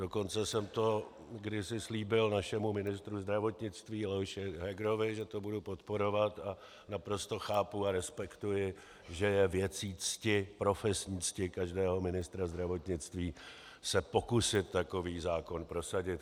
Dokonce jsem to kdysi slíbil našemu ministru zdravotnictví Leoši Hegerovi, že to budu podporovat, a naprosto chápu a respektuji, že je věcí cti, profesní cti každého ministra zdravotnictví se pokusit takový zákon prosadit.